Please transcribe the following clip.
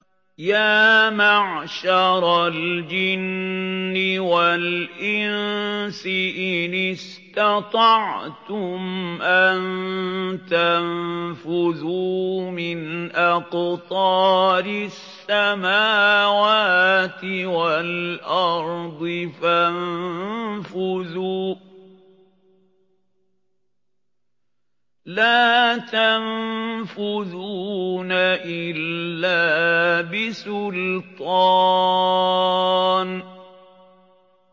يَا مَعْشَرَ الْجِنِّ وَالْإِنسِ إِنِ اسْتَطَعْتُمْ أَن تَنفُذُوا مِنْ أَقْطَارِ السَّمَاوَاتِ وَالْأَرْضِ فَانفُذُوا ۚ لَا تَنفُذُونَ إِلَّا بِسُلْطَانٍ